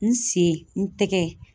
N sen, n tɛgɛ.